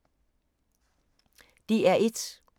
DR1